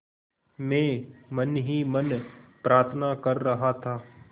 मैं मन ही मन प्रार्थना कर रहा था